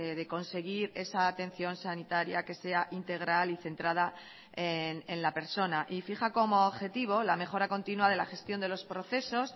de conseguir esa atención sanitaria que sea integral y centrada en la persona y fija como objetivo la mejora continua de la gestión de los procesos